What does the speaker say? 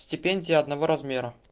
стипендия одного размера